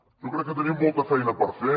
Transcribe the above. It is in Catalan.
jo crec que tenim molta feina per fer